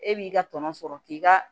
E b'i ka tɔnɔ sɔrɔ k'i ka